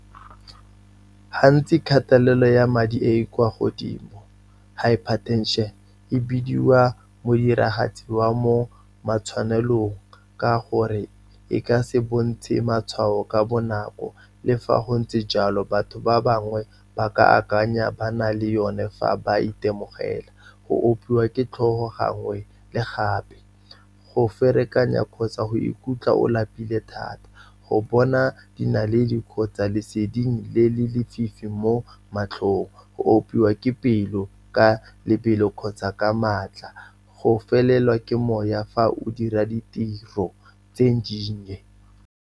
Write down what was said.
Gantsi kgatelelo ya madi e e kwa godimo, hypertension, e bidiwa modiragatsi wa mo matshwanelong, ka gore e ka se bontshe matshwao ka bonako. Le fa go ntse jalo, batho ba bangwe ba ka akanya ba na le yone fa ba itemogela, go opiwa ke tlhogo gangwe le gape, go ferekanya kgotsa go ikutlwa o lapile thata, go bona di naledi kgotsa leseding le le lefifi mo matlhong, go opiwa ke pelo ka lebelo kgotsa ka maatla, go felelwa ke mowa fa o dira ditiro tse dinnye.